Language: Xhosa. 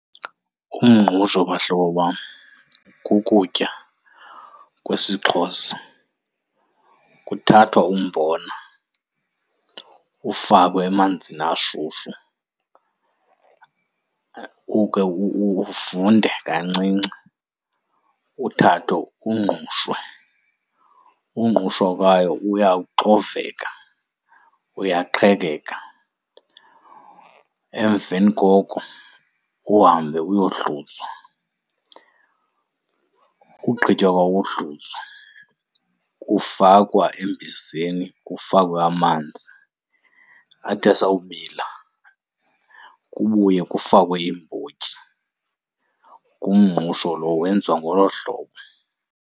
Umngqusho, bahlobo bam, kukutya kwesiXhosa. Kuthathwa umbona ufakwe emanzini ashushu, ukhe uvunde kancinci, uthathwe ungqushwe, ungqushwa kwawo uyaxoveka, uyaqhekeka. Emveni koko, uhambe uyohluzwa. Ugqitywa kwawo ukuhluzwa kufakwa embizeni kufakwe amanzi. Athi asawubila kubuye kufakwe iimbotyi. Ngumngqusho lowo, wenziwa ngolo hlobo.